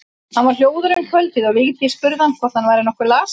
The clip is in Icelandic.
Hann var hljóður um kvöldið og Vigdís spurði hvort hann væri nokkuð lasinn.